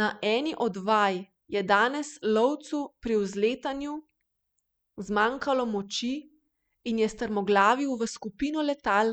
Na eni od vaj je danes lovcu pri vzletanju zmanjkalo moči in je strmoglavil v skupino letal,